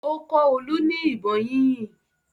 Ó kọ́ Olú ní ìbọn yínyìn.